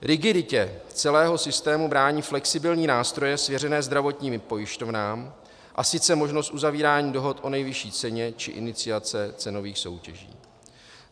Rigiditě celého systému brání flexibilní nástroje svěřené zdravotním pojišťovnám, a sice možnost uzavírání dohod o nejvyšší ceně či iniciace cenových soutěží.